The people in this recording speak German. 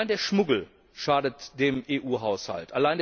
Der Schmuggel schadet dem EU Haushalt.